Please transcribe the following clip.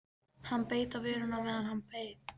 Hann beit á vörina á meðan hann beið.